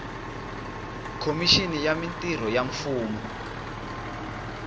khomixini ya mintirho ya mfumo